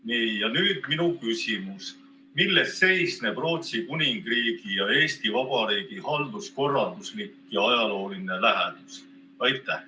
" Nii, ja nüüd minu küsimus: milles seisneb Rootsi Kuningriigi ja Eesti Vabariigi halduskorralduslik ja ajalooline lähedus?